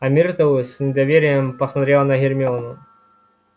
а миртл с недоверием посмотрела на гермиону